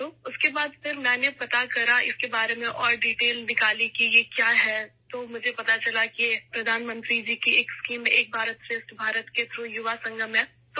تو اس کے بعد مجھے اس کے بارے میں مزید تفصیلات معلوم ہوئیں، یہ کیا ہے؟ تو مجھے معلوم ہوا کہ یہ وزیر اعظم کی اسکیم 'ایک بھارت شریشٹھ بھارت' کے ذریعے نوجوانوں کا سنگم ہے